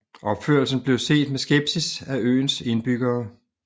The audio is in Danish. Opførelsen blev set med skepsis af øens indbyggere